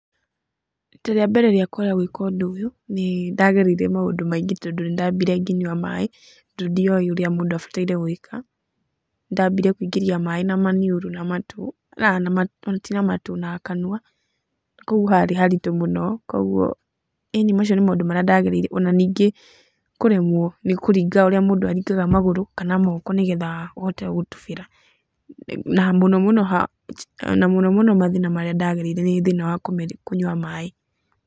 Rita rĩa mbere rĩakwa rĩa gwĩka ũndũ ũyũ nĩ ndagereire maũndũ maingĩ tondũ nĩ ndambire ngĩnyua maaĩ tondũ ndioĩ ũrĩa mũndũ abataire gwĩka. Ndambire kũingĩria maĩ na manniũrũ na matũ, aa ona tiga matũ, na kanua, kũguo harĩ haritũ mũno, kuũguo ĩni macio nĩmo maũndũ marĩa ndagereire. Ona ningĩ kũremwo nĩ kũringa ũrĩa mũndũ aringaga magũrũ kana moko nĩ getha ũhote gũtubĩra. Na mũno mũno, na mũno mũno mathĩna marĩa ndagereire nĩ thĩna wa kũnyua maĩ.